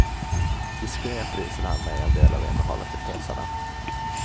Diskret visade han mig en del av innehållet i påsarna.